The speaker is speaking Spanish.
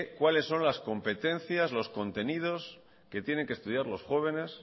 cuáles son las competencias los contenidos que tienen que estudiar los jóvenes